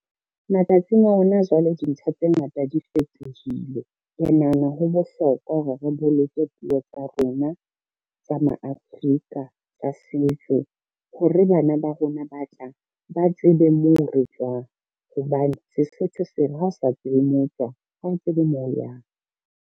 Matsatsing a hona jwale, dintho tse ngata di fetohile. Ke nahana ho bohlokwa hore re boloke puo tsa rona tsa ma Afrika tsa setso, hore bana ba rona ba tlang ba tsebe moo re tswang hobane Sesotho se re, ha o sa tsebe moo tswang ha o tsebe moo o yang.